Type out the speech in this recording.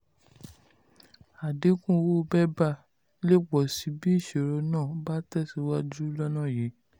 àdínkù owó bébà le pọ̀ síi bí ìṣòro náà bá tẹ̀síwájú lọ́nà yìí.